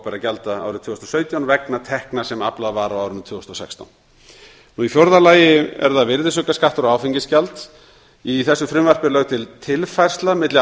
opinberra gjalda árið tvö þúsund og sautján vegna tekna sem aflað var á árinu tvö þúsund og sextán í fjórða lagi er virðisaukaskattur og áfengisgjald í þessu frumvarpi er lögð til tilfærsla milli